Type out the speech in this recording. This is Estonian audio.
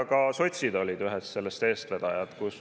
Ka sotsid olid seal ühed eestvedajad.